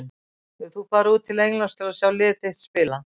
Hefur þú farið út til Englands að sjá lið þitt spila?